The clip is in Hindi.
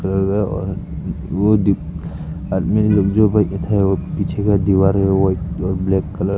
वो दिख आदमी लोग जो बैठे थे वो पीछे का दीवार है व्हाइट और ब्लैक कलर --